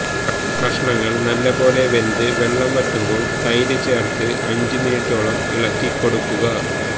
കഷണങ്ങള് നല്ലപോലെ വെന്ത് വെള്ളം വറ്റുമ്പോള് തെര് ചേർത്ത് അഞ്ചുമിനിറ്റോളം ഇളക്കിക്കൊടുക്കുക